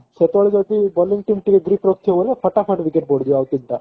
ସେତେବେଳେ ଯଦି bowling team ଟିକେ ଧୀରେ ଖେଳୁଥିବ ବୋଲେ ଫଟାଫଟ wicket ବଢିଯିବ ଆଉ କିଛି ଟା